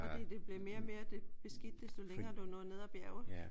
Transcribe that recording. Fordi det blev mere og mere beskidt desto længere du nåede ned af bjerget?